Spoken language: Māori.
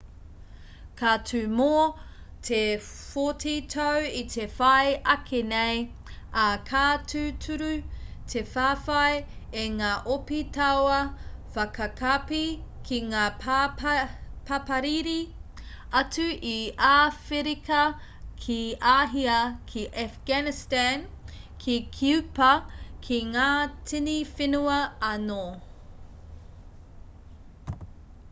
ka tū mō te 40 tau i te whai ake nei ā ka tūturu te whawhai e ngā ope tauā whakakapi ki ngā papariri atu i āwherika ki āhia ki afghanistan ki kīupa ki ngā tini whenua anō